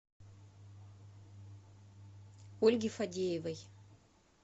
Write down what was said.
ольги фадеевой